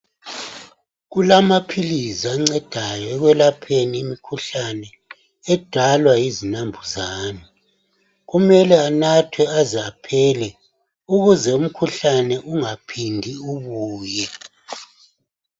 Kulamaphilisi ancedayo ekwelapheni imikhuhlane edalwa yoninambuzani kumele anathwe aze aphela ukuze umkhuhlane ungaphindi ubuye.